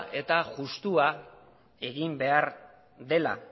eta justua egin behar dela